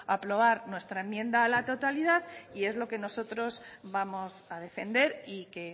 aprobar nuestra enmienda a la totalidad y es lo que nosotros vamos a defender y que